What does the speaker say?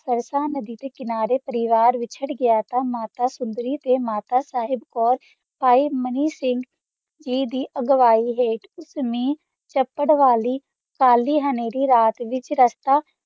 ਸਰਕਾ ਨਦੀ ਦਾ ਕਨਾਰਾ ਵਿਤ੍ਚਾਰ ਗਯਾ ਥਾ ਮਾਤਾ ਸੋੰਦਾਰੀ ਤਾ ਮਾਤਾ ਸਾਹਿਬ ਕੋਰ ਆਈ ਮਨੀ ਸਿੰਘ ਦੀ ਅਗਵਾਹੀ ਆ ਜ਼ਮੀਨ ਚਪਰ ਅਲੀ ਕਾਲੀ ਹੈਨਰੀ ਰਾਤ ਵਿਤਚ ਰਸਤਾ